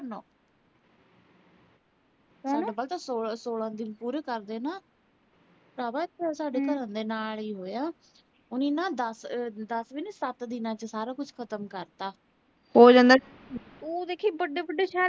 ਕਰਦੇ ਨਾ। ਸਾਰਾ ਕੁਸ਼ ਸਾਡੇ ਘਰ ਦੇ ਨਾਲ ਈ ਆ। ਉਹ ਨਾ ਦਸ, ਦਸ ਵੀ ਨੀਂ ਸੱਤ ਦਿਨਾਂ ਚ ਸਾਰਾ ਕੁਝ ਖਤਮ ਕਰਤਾ ਉਹ ਦੇਖੀਂ ਵੱਡੇ ਵੱਡੇ ਸ਼ਹਿਰ